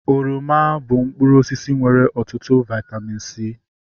Oroma bụ mkpụrụ osisi nwere ọtụtụ vaitamin C